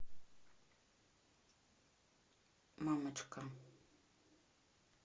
мамочка